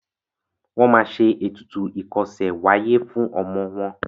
wón má ṣe ètùtù ikose w'aye fún ọmọ wón.